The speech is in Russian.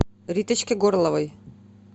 риточке горловой